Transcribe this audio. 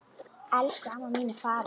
Elsku amma mín er farin.